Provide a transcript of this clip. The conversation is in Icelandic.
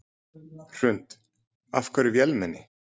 Hrund: Af hverju vélmenni?